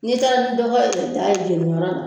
N'i taara ni dɔgɔ ye ka taa jeni yɔrɔ la